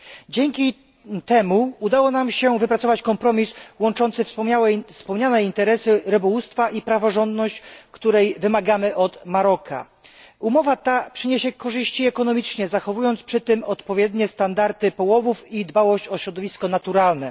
Dzięki temu udało nam się wypracować kompromis łączący wspomniane interesy rybołówstwa i praworządność, której wymagamy od Maroka. Umowa ta przyniesie korzyści ekonomiczne, zachowując przy tym odpowiednie standardy połowów i dbałość o środowisko naturalne.